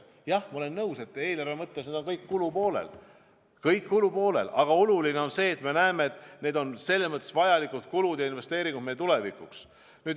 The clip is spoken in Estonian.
Jah, ma olen nõus, et need on kõik eelarve kulupoolel, aga oluline on see, et me näeme, et need on vajalikud kulud ja investeeringud meie tulevikuks.